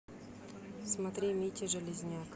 смотри митя железняк